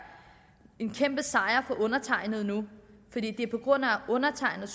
en kæmpesejr for undertegnede nu fordi det er på grund af undertegnede